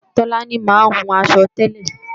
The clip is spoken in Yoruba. Tọ́lání máa ń hun aṣọ tẹ́lẹ̀